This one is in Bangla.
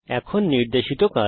এখন নির্দেশিত কাজ